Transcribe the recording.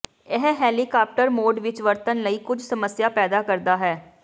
ਇਹ helicopter mode ਵਿੱਚ ਵਰਤਣ ਲਈ ਕੁਝ ਸਮੱਸਿਆ ਪੈਦਾ ਕਰਦਾ ਹੈ